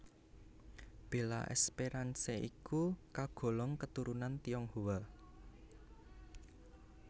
Bella Esperance iku kagolong katurunan Tionghoa